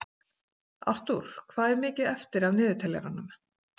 Artúr, hvað er mikið eftir af niðurteljaranum?